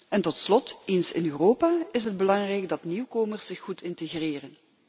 En tot slot, eens in Europa is het belangrijk dat nieuwkomers zich goed integreren.